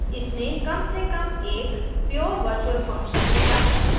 इसमें कम से काम एक pure virtual function होता है